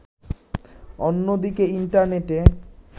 অন্যদিকে, ইন্টারনেটে